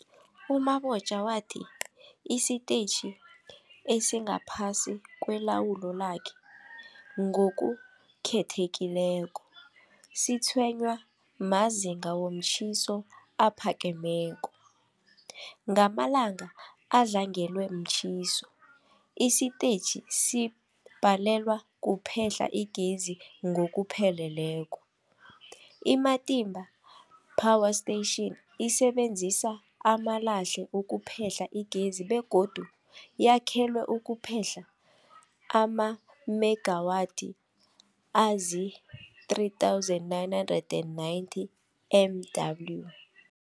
U-Mabotja wathi isitetjhi esingaphasi kwelawulo lakhe, ngokukhethekileko, sitshwenywa mazinga womtjhiso aphakemeko. Ngamalanga adlangelwe mtjhiso, isitetjhi sibhalelwa kuphehla igezi ngokupheleleko. I-Matimba Power Station isebenzisa amalahle ukuphehla igezi begodu yakhelwe ukuphehla amamegawathi azii-3990 MW.